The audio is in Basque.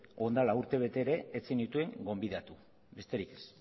orain dela urtebete ere ez zenituen gonbidatu besterik ez